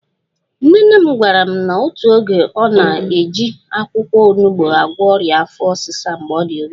/Nne nne m gwara m n'otu oge na ọ na-eji akwụkwọ onugbo agwọ ọrịa afọ ọsịsa mgbe ọ dị obere